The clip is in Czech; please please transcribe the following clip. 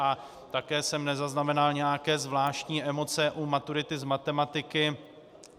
A také jsme nezaznamenal nějaké zvláštní emoce u maturity z matematiky.